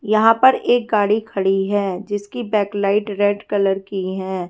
यहां पर एक गाड़ी खड़ी है जिसकी बैक लाइट रेड कलर की हैं।